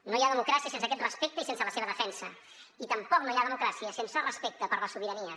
no hi ha democràcia sense aquest respecte i sense la seva defensa i tampoc no hi ha democràcia sense respecte per la sobirania